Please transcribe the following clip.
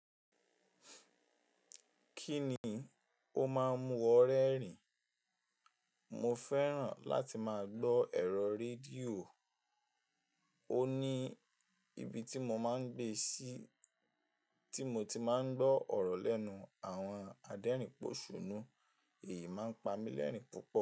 Kí ni o máa ń mu wọ rẹ́rìn? Mo fẹ́ràn láti máa gbọ́ ẹ̀rọ rédíò. Ó ní ibi tí mo máa ń gbé sí, tí mo ti máa ń gbọ́ ọ̀rọ̀ lẹ́nu àwọn adẹrìn pòṣùnú, èyí máa ń pa mí lẹ́rìn púpọ̀